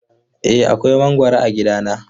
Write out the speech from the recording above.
Eh akwai mangwaro a gidana.